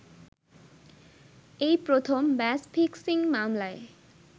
এই প্রথম match fixing মামলায়